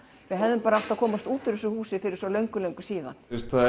hefðum bara þurft að komast út úr þessu húsi fyrir svo löngu löngu síðan